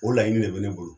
O laɲini de bɛ ne bolo